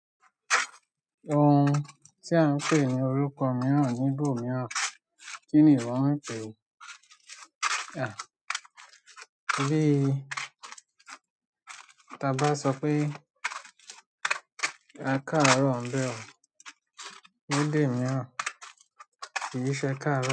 Ohun tí à ń pè ní orúkọ mìíràn níbò mìíràn kí nìwọ ń pè é. Bí táa bá sọ pé akáàrọ̀ ń bẹ un, lédè mìíràn kì í ṣe ẹ káàrọ̀